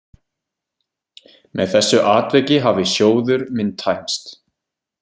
Með þessu atviki hafði sjóður minn tæmst.